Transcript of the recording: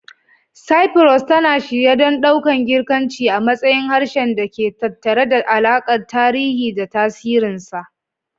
Cyprus, tana shirye don ɗaukan Girkanci a matsayin harshen da ke tattare da alakar tarihi da tasirinsa.